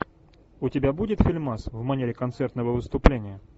у тебя будет фильмас в манере концертного выступления